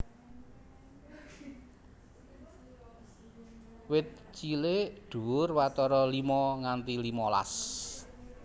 Wit cilik dhuwur watara limo nganti limolas